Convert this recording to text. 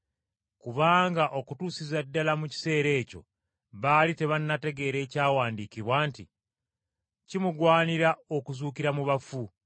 Kubanga okutuusiza ddala mu kiseera ekyo baali tebannategeera ekyawandiikibwa nti: Kimugwanira okuzuukira mu bafu.